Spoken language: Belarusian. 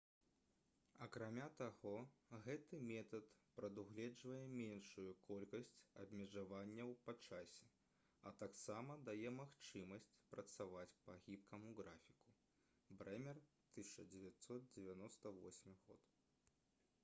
акрамя таго гэты метад прадугледжвае меншую колькасць абмежаванняў па часе а таксама дае магчымасць працаваць па гібкаму графіку bremer 1998